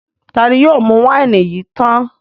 Ta ni yóò mú wáìnì yìí tán?